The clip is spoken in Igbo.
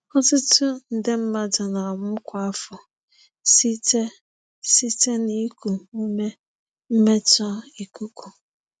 Ọtụtụ nde mmadụ na-anwụ kwa afọ site site na iku ume mmetọ ikuku.